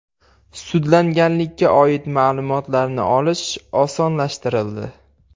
Sudlanganlikka oid ma’lumotlarni olish osonlashtirildi.